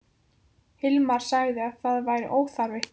Hilmar sagði að það væri óþarfi.